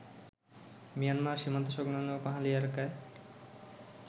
Myanmar সীমান্তসংলগ্ন পাহাড়ি এলাকায়